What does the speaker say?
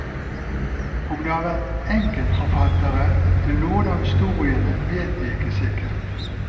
Om det har vært enkeltforfattere til noen av historiene vet vi ikke sikkert.